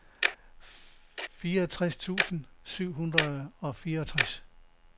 fireogtres tusind syv hundrede og fireogtres